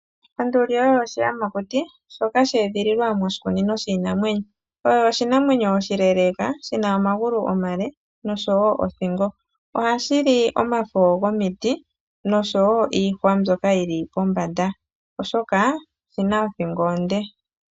Onduli oyo oshiyamakuti shoka sha edhililwa moshikunino shiinamwenyo. Oyo oshinamwenyo oshileeleeka, shi na omagulu omale, nosho wo othingo. Ohashi li omafo gomiti, nosho wo iihwa mbyoka yi li pombanda, oshoka oshi na othingo onde.